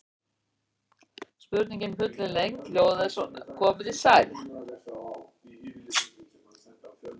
Spurningin í fullri lengd hljóðaði svona: Komið þið sæl.